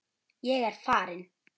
Ég er farin!